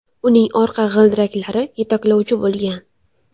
Uning orqa g‘ildiraklari yetaklovchi bo‘lgan.